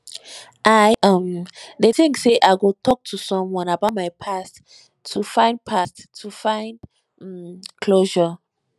i um dey think say i go talk to someone about my past to find past to find um closure um